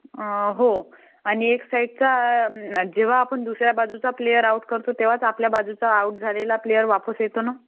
हो आणि एक साईड जेंव्हा आपण दुसऱ्या बाजूचा प्लेअर आउट करतो तेंव्हाच आपल्या साईड चा आउट झालेला प्लेअर वापस येतो ना